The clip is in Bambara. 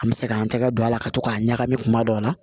An bɛ se k'an tɛgɛ don a la ka to k'a ɲagami kuma dɔ la